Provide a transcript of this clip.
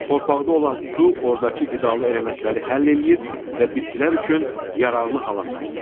Torpaqda olan su ordakı qidalı elementləri həll eləyir və bitkilər üçün yararlı hala salır.